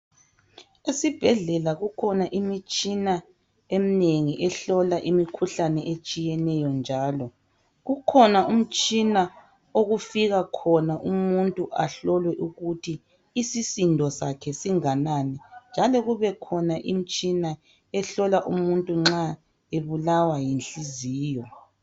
Ezibhedlela kukhona imitshina eminingi ehlola imikhuhlane etshiyeneyo njalo kukhona umtshina okufika khona Umuntu ahlolwe ukuthi isisindo sakhe singananinjalo kubekhona imitshina ehlola umuntu nxa ebulawa yinhliziyo.